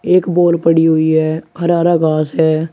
एक बोर पड़ी हुई है हरा हरा घास है।